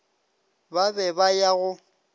ba be ba ya go